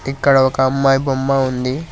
ఇక్కడ ఒక అమ్మాయి బొమ్మ ఉంది.